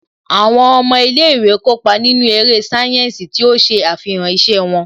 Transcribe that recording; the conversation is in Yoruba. Àwọn ọmọ ilé ìwé kópa nínú eré sáyẹ́ǹsì tí ó ṣe àfihàn iṣẹ́ wọn